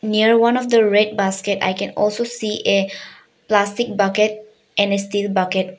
Near one of the red basket I can also see a plastic bucket and a steel bucket.